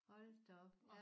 Hold da op